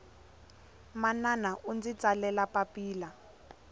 manana undzi tsalele papila